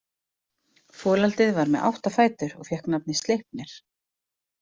Folaldið var með átta fætur og fékk nafnið Sleipnir.